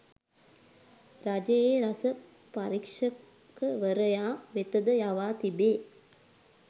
රජයේ රස පරීක්‍ෂකවරයා වෙතද යවා තිබේ.